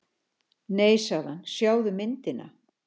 Nei sagði hann, sjáðu myndina.